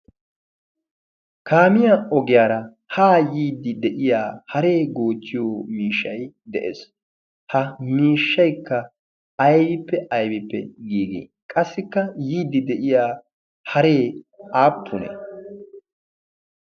kaamiyaa ogiyaara haa yiiddi de'iya haree goocchiyo miishshay de'ees ha miishshaikka aybippe aybippe giigi qassikka yiiddi de'iya haree aappunee